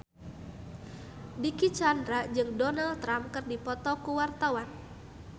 Dicky Chandra jeung Donald Trump keur dipoto ku wartawan